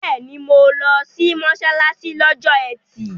Bẹ́ẹ̀ni, mo lọ sí mọ́ṣáláṣí lọ́jọ́ ẹtì